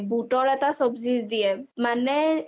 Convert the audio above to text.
বুটৰ এটা চবজি দিয়ে মানে